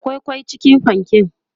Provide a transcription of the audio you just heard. akwai kwai cikin panken?